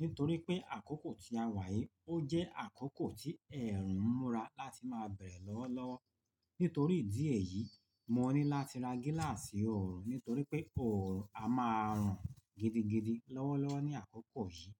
nítorí pé àkókò tí a wà yìí ó jẹ́ àkókò tí ẹ̀rù ń múra láti máa bẹ̀rẹ̀ lọ́wọ́lọ́wọ́. Nítorí ìdí èyí, mo ní láti ra gíláàsì ọ̀ọ̀rùn, nítorí pé ọ̀ọ̀rùn a máa rùn gidigidi lọ́wọ́lọ́wọ́ ní àkókò yìí.